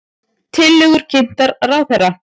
Tillögur kynntar ráðherra